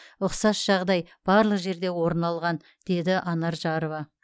ұқсас жағдай барлық жерде орын алған деді анар жарова